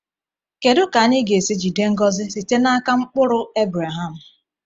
Kedu ka anyị ga-esi jide ngọzi site n’aka “mkpụrụ” Abraham?